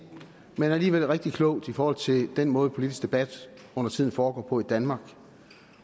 men alligevel rigtig klogt i forhold til den måde politisk debat undertiden foregår på i danmark